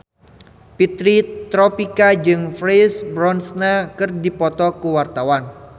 Fitri Tropika jeung Pierce Brosnan keur dipoto ku wartawan